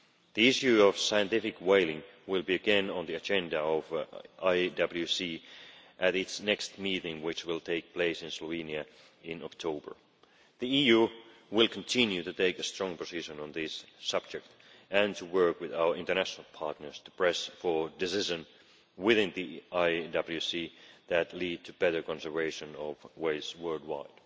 The issue of scientific whaling will be again on the agenda of the IWC at its next meeting, which will take place in Slovenia in October. The EU will continue to take a strong position on this subject and to work with our international partners to press for decisions within the IWC that lead to better conservation of whales worldwide.